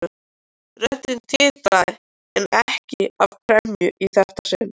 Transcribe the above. Röddin titraði en ekki af gremju í þetta sinn.